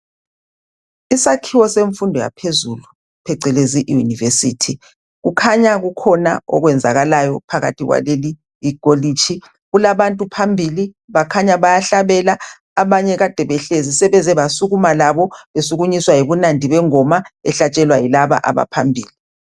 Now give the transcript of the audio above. Isakhiwo semfundo yaphezulu phecelezi iyunivesithi. Kukhanya kukhona okwenzakalayo phakathi kwaleli kholitshi kulabantu phambili bakhanya bayahlabela. Abanye kade behlezi sebeze basukuma labo besukunyiswa yibunandi bengoma ehlatshelwa yilaba abaphambili.